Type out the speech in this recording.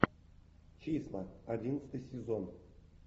числа одиннадцатый сезон